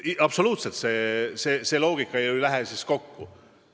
Absoluutselt, see loogika ju ei lähe siis kokku!